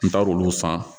N taar'olu san